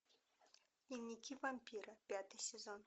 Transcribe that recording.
дневники вампира пятый сезон